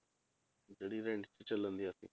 ਜਿਹੜੀ rent ਤੇ ਚੱਲਦੀਆਂ ਸੀ